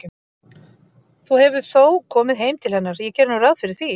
Þú hefur þó komið heim til hennar, ég geri nú ráð fyrir því.